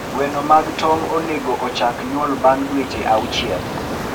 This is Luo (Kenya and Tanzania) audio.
Gweno mag tong onego ochak nyuol bang' dweche auchiel.